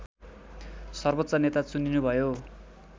सर्वोच्च नेता चुनिनुभयो